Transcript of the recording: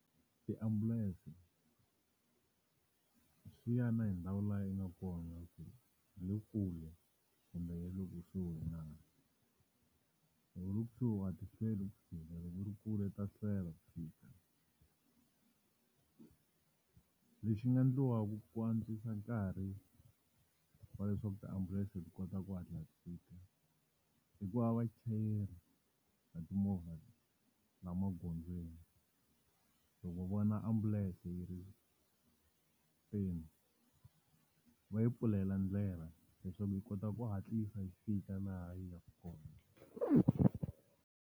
Tiambulense, swi ya na hi ndhawu laha yi nga kona ku hi le kule kumbe hi le kusuhi na. Loko u ri loko kusuhi a ti hlweli ku fika loko u ri kule ta hlwela ku fika. Lexi nga endliwaka ku antswisa nkarhi wa leswaku tiambulense ti kota ku hatla ti fika, i ku va vachayeri va timovha laha magondzweni, loko vona ambulense yi ri eku teni, va yi pfulela ndlela leswaku yi kota ku hatlisa yi fika laha yi yaka kona.